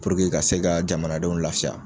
Puruke ka se ka jamanadenw lafiya